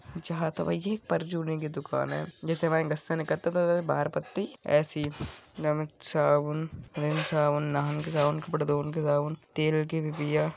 जहा तो भाई ये परचूने की दुकान हैं जैसे हमारे घर से निकलते बाहर पत्ती एसे ही साबुन रीन साबुननाहन के साबुन कपड़े धोनन के साबुन तेल की डिबिया --